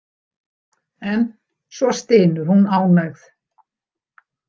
En svo stynur hún ánægð.